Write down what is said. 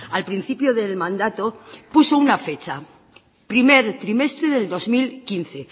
al principio del mandato puso una fecha primer trimestre del dos mil quince